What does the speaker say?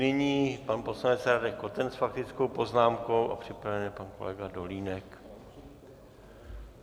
Nyní pan poslanec Radek Koten s faktickou poznámkou a připraven je pan kolega Dolínek.